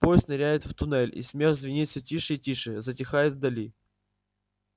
поезд ныряет в туннель и смех звенит все тише и тише затихает вдали